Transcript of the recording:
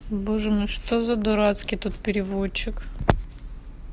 боже мой что за дурацкий тут переводчик